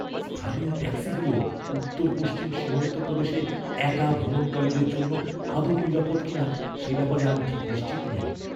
স্থানীয় ট্যাক্সিগুলো উত্তর পশ্চিম সীমান্ত প্রদেশে একা ভ্রমণকারীদের জন্য আদৌ নিরাপদ কিনা সে ব্যাপারে আমি ঠিক নিশ্চিত নই।